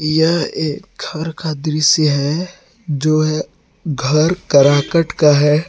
यह एक घर का दृश्य है जो है घर करकट का है।